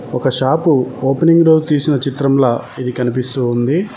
ఒక shop opening రోజు తీసిన చిత్రంల ఇది కనిపిస్తూ ఉంది.